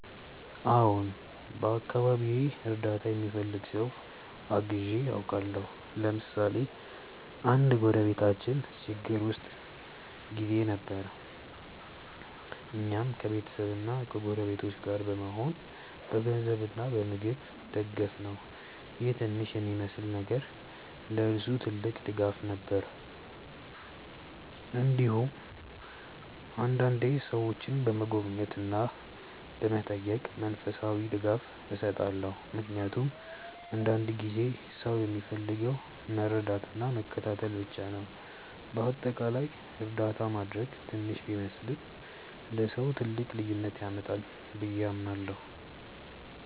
አዎን፣ በአካባቢዬ እርዳታ የሚፈልግ ሰው አግዤ አውቃለሁ። ለምሳሌ አንድ ጎረቤታችን ችግር ውስጥ ጊዜ ነበር፣ እኛም ከቤተሰብና ከጎረቤቶች ጋር በመሆን በገንዘብ እና በምግብ ደገፍነው ይህ ትንሽ የሚመስል ነገር ለእርሱ ግን ትልቅ ድጋፍ ነበር። እንዲሁም አንዳንዴ ሰዎችን በመጎብኘት እና በመጠየቅ መንፈሳዊ ድጋፍ እሰጣለሁ፣ ምክንያቱም አንዳንድ ጊዜ ሰው የሚፈልገው መረዳትና መከታተል ብቻ ነው። በአጠቃላይ እርዳታ ማድረግ ትንሽ ቢመስልም ለሰው ትልቅ ልዩነት ያመጣል ብዬ አምናለሁ።